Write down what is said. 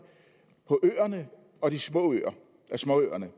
på øerne og småøerne